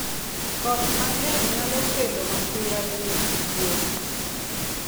koth mang`e nyalo kelo masira ne nyith gwen.